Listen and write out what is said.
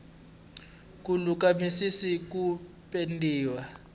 ku luka misisi yo pendiwa